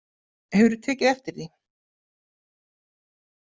Hefurðu tekið eftir því?